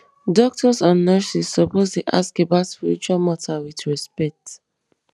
doctors and nurses suppose dey ask about spiritual matter with respect